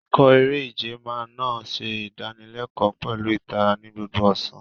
Ikọ̀ eré-ìje máa naa ń ṣe ìdánilẹ́kọ̀ọ́ pẹ̀lú ìtara ní gbogbo ọ̀sán.